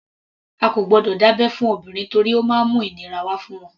A kò gbọdọ̀ dá abẹ́ fún obìnrin torí ó má ń mú ìnira wá fún wọn.